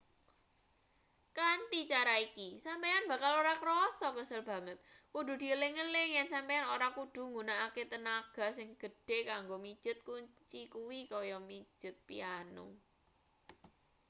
kanthi cara iki sampeyan bakal ora krasa kesel banget kudu dieling-eling yen sampeyan ora kudu nggunakake tenaga sing gedhe kanggo mijet kunci kuwi kaya mijet piano